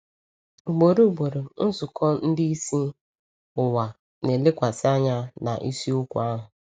Ugboro ugboro, nzukọ ndị isi ụwa na-elekwasị anya na isiokwu ahụ.